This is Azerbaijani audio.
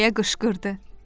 deyə qışqırdı.